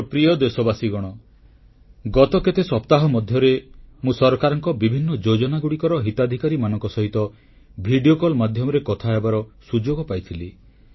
ମୋର ପ୍ରିୟ ଦେଶବାସୀଗଣ ଗତ କେତେ ସପ୍ତାହ ମଧ୍ୟରେ ମୁଁ ସରକାରଙ୍କ ବିଭିନ୍ନ ଯୋଜନାଗୁଡ଼ିକର ହିତାଧିକାରୀମାନଙ୍କ ସହିତ ଭିଡ଼ିଓ କଲ ମାଧ୍ୟମରେ କଥା ହେବାର ସୁଯୋଗ ପାଇଥିଲି